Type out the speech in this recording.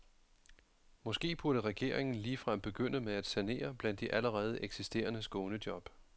Måske burde regeringen ligefrem begynde med at sanere blandt de allerede eksisterende skånejob.